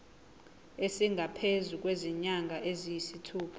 esingaphezu kwezinyanga eziyisithupha